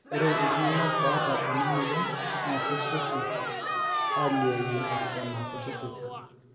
ore iltunganak ooota ena moyian naa kesioki alioyu eton aa kutitik